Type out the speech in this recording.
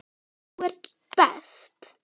Þú ert best.